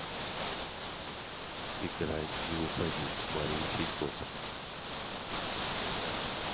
играй не уходи мария чайковская